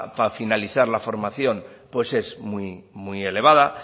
finalizar la formación pues es muy muy elevada